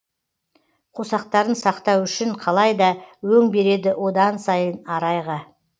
қосақтарын сақтау үшін қалай да өң береді одан сайын арайға